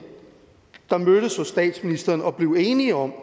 der mødtes hos statsministeren og blev enige om